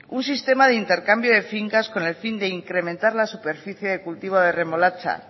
un sistema de intercambio de fincas con el fin de incrementar la superficie de cultivo de remolacha